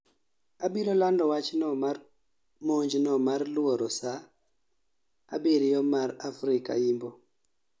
Abiro lando wachno mar monjno mar luoro saa abiriyo mar Afrika Yimbo